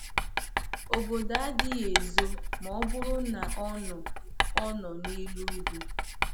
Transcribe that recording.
Obodo adịghị ezo ma ọ bụrụ na ọ nọ ọ nọ n’elu ugwu.